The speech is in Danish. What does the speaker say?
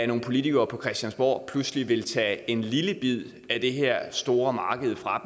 nogle politikere på christiansborg pludselig vil tage en lille bid af det her store marked fra